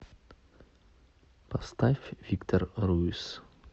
поставь виктор руиз